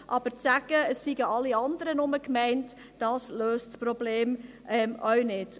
Aber zu sagen, alle andere seien nur gemeint, löst das Problem auch nicht.